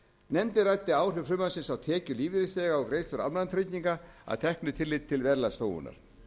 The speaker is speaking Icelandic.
nefndin ræddi áhrif frumvarpsins á tekjur lífeyrisþega og greiðslur almannatrygginga að teknu tilliti til verðlagsþróunar